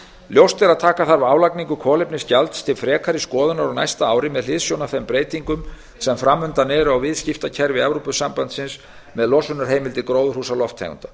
ljóst er að taka þarf álagningu kolefnisgjalds til frekari skoðunar á næsta ári með hliðsjón af þeim breytingum sem fram undan eru á viðskiptakerfi evrópusambandsins með losunarheimildir gróðurhúsalofttegunda